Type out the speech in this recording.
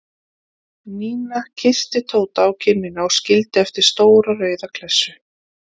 Nína kyssti Tóta á kinnina og skildi eftir stóra rauða klessu.